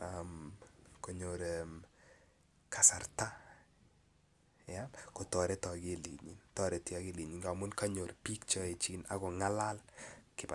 ak konyor kasarta kotoreti akilinyin amun kanyor bik Che aejin ak kongalal kibagenge